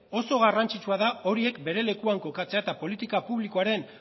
oso garrantzitsua da horiek bere lekuan kokatzea eta politika publikoaren